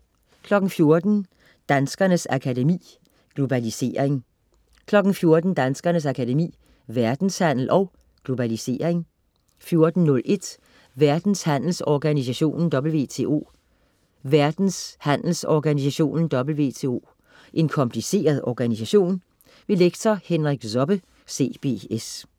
14.00 Danskernes Akademi. Globalisering 14.00 Danskernes Akademi. Verdenshandel & Globalisering 14.01 Verdenshandelsorganisationen WTO. Verdenshandelsorganisationen WTO er en kompliceret organisation. Lektor Henrik Zobbe, CBS